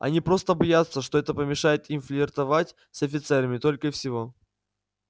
они просто боятся что это помешает им флиртовать с офицерами только и всего